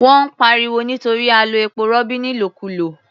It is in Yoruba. Wọ́n ń pariwo nítorí a lo epo-rọ̀bì nílòkulò.